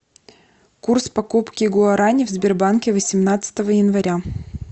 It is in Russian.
курс покупки гуарани в сбербанке восемнадцатого января